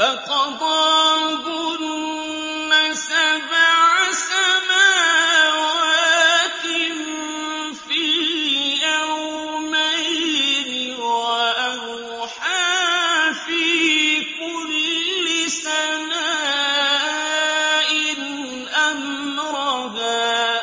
فَقَضَاهُنَّ سَبْعَ سَمَاوَاتٍ فِي يَوْمَيْنِ وَأَوْحَىٰ فِي كُلِّ سَمَاءٍ أَمْرَهَا ۚ